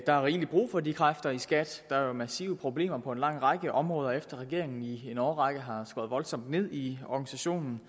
er rigelig brug for de kræfter i skat der er jo massive problemer på en lang række områder efter at regeringen i en årrække har skåret voldsomt ned i organisationen